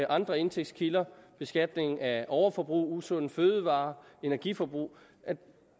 andre indtægtskilder beskatning af overforbrug usunde fødevarer energiforbrug